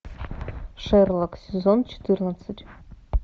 шерлок сезон четырнадцать